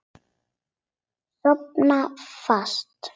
Sofna fast.